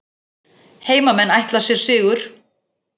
Heimamenn ætla sér sigur